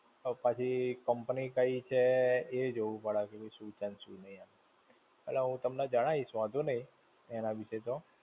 હવે પછી company કઈ છે એ જોવું પડે, શું છે ને શું નહિ એમ. એટલે હું તમને જણાઇશ વાંધો નહિ, એના વિશે તો.